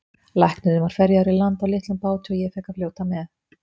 Læknirinn var ferjaður í land á litlum báti og ég fékk að fljóta með.